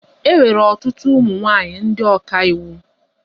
E nwere ọtụtụ ụmụ nwaanyị ndị ọkà iwu.